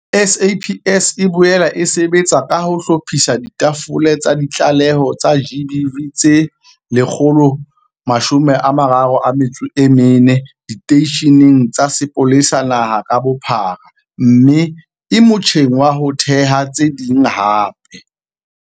SAPS e boela e sebetsa ka ho hlophisa ditafole tsa ditlaleho tsa GBV tse 134 diteisheneng tsa sepolesa naha ka bophara mme e motjheng wa ho theha tse ding hape.